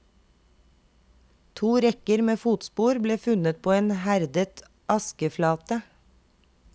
To rekker med fotspor ble funnet på en herdet askeflate.